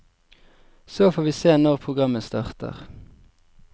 Så får vi se når programmet starter.